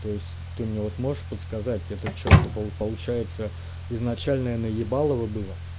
то есть ты мне вот можешь подсказать это что это получается изначальное наебалово было